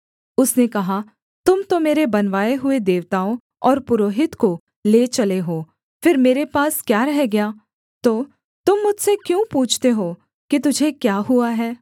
उसने कहा तुम तो मेरे बनवाए हुए देवताओं और पुरोहित को ले चले हो फिर मेरे पास क्या रह गया तो तुम मुझसे क्यों पूछते हो कि तुझे क्या हुआ है